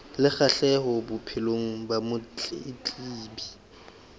le kgahleho bophelong ba motletlebi